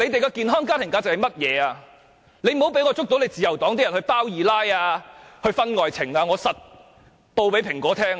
自由黨的黨員不要被我捉到有人"包二奶"或搞婚外情，我一定會告訴《蘋果日報》。